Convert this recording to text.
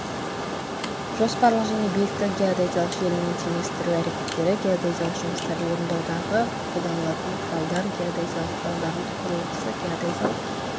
жоспарлық және биіктік геодезиялық желінің теңестіру әрекеттері геодезиялық жұмыстарды орындаудағы қолданылатын құралдар геодезиялық құралдардың құрылғысы геодезиялық